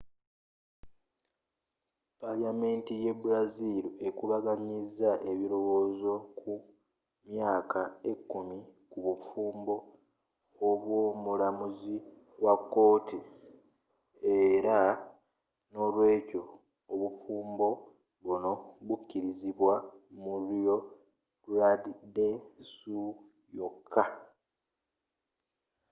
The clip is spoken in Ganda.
paliyamenti ye brazil ekubaganyizza ebilowozo ku myaka ekumi ku bufumbo obwo mulamuzi wa kooti era n'olwekyo obufumbo buno bukilizibwa mu rio grande do sul yoka